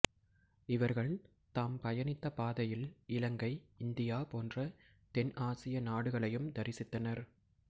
இவர்கள் தாம் பயணித்த பாதையில் இலங்கை இந்தியா போன்ற தென் ஆசிய நாடுகளையும் தரிசித்தனர்